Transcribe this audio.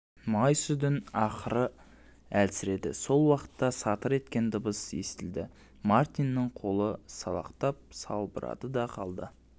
май сүдін ақыры әлсіреді сол уақытта сатыр еткен дыбыс естілді мартиннің қолы салақтап салбырады да қалды